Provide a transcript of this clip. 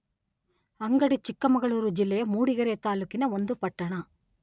ಅಂಗಡಿ ಚಿಕ್ಕಮಗಳೂರು ಜಿಲ್ಲೆಯ ಮೂಡಿಗೆರೆ ತಾಲ್ಲೂಕಿನ ಒಂದು ಪಟ್ಟಣ.